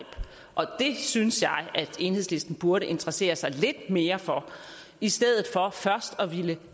og det synes jeg enhedslisten burde interessere sig lidt mere for i stedet for først at ville